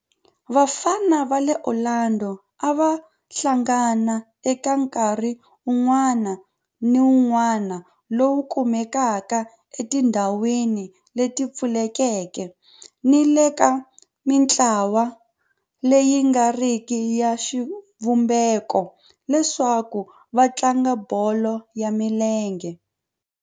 Vafana va le Orlando a va hlangana eka nkarhi wun'wana ni wun'wana lowu kumekaka etindhawini leti pfulekeke ni le ka mintlawa leyi nga riki ya xivumbeko leswaku va tlanga bolo ya milenge.